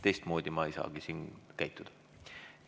" Teistmoodi ma ei saagi siin käituda.